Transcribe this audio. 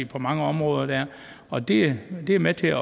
på mange områder og det er med til at